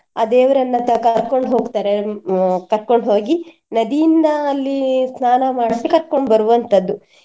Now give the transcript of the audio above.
ಆ ದೇವರನ್ನ ಕರ್ಕೊಂಡ್ ಹೋಗ್ತಾರೆ ಅಹ್ ಕರ್ಕೊಂಡ್ ಹೋಗಿ ನದಿಯಿಂದ ಅಲ್ಲಿ ಸ್ನಾನ ಮಾಡ್ಸಿ ಕರ್ಕೊಂಡ್ ಬರುವಂತದ್ದು.